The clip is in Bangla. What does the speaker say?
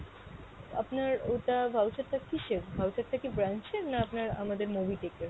আপনার ওটা voucher টা কীসের? voucher টা কী branch এর না আপনার আমাদের mobitech এর?